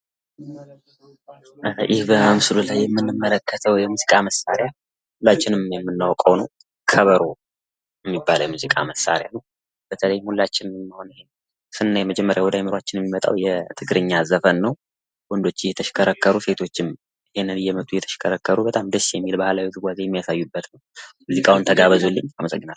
ይህ በምስሉ ላይ የምንመለከተው የሙዚቃ መሳሪያ ሁላችን የምናዉቀው ነው ከበሮ የሚባለው የሙዚቃ መሳሪያ ነው። በተለይ ይህን መሳሪያ ስናስብ ቅድሚያ ወደ አእምሮአችን የሚመጣው የትግረኛ ሙዚቃ ነው ፤ ሙዚቃውን ተጋበዙልኝ አመሰግናለሁ።